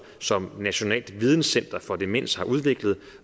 som nationalt videnscenter for demens har udviklet